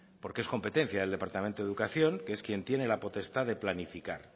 porque es competencia del departamento de educación que es quien tiene la potestad de planificar